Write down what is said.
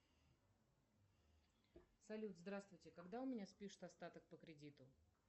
салют здравствуйте когда у меня спишут остаток по кредиту